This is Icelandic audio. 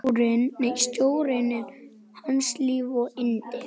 Sjórinn er hans líf og yndi!